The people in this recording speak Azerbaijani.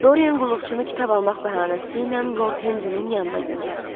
Dorian qulluqçunu kitab almaq bəhanəsi ilə Lord Henri-nin yanına göndərdi.